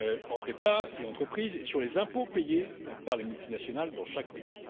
entre États et entreprises, et sur les impôts payés par les multinationales dans chaque pays.